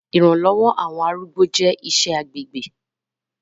Siṣe iranlọwọ ni àwọn ilé arúgbó jẹ iṣẹ agbegbe